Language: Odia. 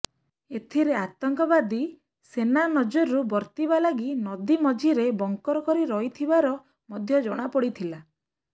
ଏଥିରେ ଆତଙ୍କବାଦୀ ସେନା ନଜରରୁ ବର୍ତ୍ତିବା ଲାଗି ନଦୀ ମଝିରେ ବଙ୍କର କରି ରହିଥିବାର ମଧ୍ୟ ଜଣାପଡିଥିଲା